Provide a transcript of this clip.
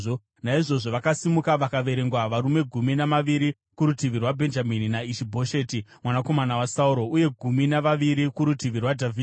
Naizvozvo vakasimuka vakaverengwa varume gumi navaviri kurutivi rwaBhenjamini naIshi-Bhosheti mwanakomana waSauro, uye gumi navaviri kurutivi rwaDhavhidhi.